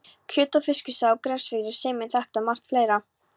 Kjöt- og Fiskisaga á Grensásvegi sameinar þetta og margt fleira.